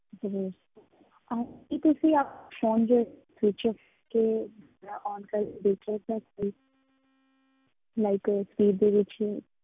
ਜੀ ਕੀ ਤੁਸੀਂ phone ਜਿਹੜਾ switch off ਕਰਕੇ ਜਾਂ on ਕਰਕੇ ਦੇਖ ਲਿਆ sir ਇੱਕ ਵਾਰੀ like speed ਦੇ ਵਿੱਚ ਹੀ